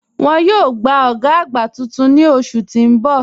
Wọ́n yòò gbà ògá àgbá tuntun ni oṣù tí n bọ̀.